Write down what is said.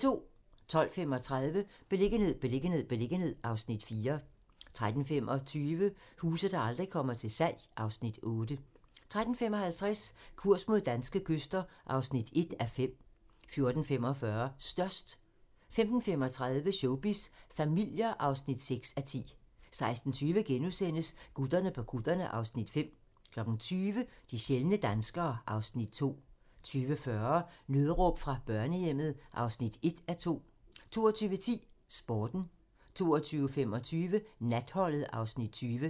12:35: Beliggenhed, beliggenhed, beliggenhed (Afs. 4) 13:25: Huse, der aldrig kommer til salg (Afs. 8) 13:55: Kurs mod danske kyster (1:5) 14:45: Størst 15:35: Showbiz familier (6:10) 16:20: Gutterne på kutterne (Afs. 5)* 20:00: De sjældne danskere (Afs. 2) 20:40: Nødråb fra børnehjemmet (1:2) 22:10: Sporten 22:25: Natholdet (Afs. 20)